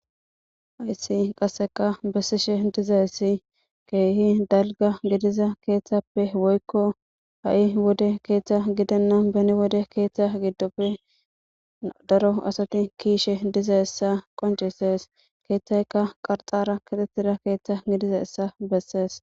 hayssi qasseka bessishe diza issi keehi dalga gidiza keeththappe woykko ha7i wode keeththa gidanna beni wode keeththa giddoppe daro asati kiishe diza issa qoncisees keeththaykka qarxara kitetida keeththa gidiza issa bessees